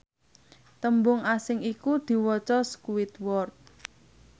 tembung asing iku diwaca squidward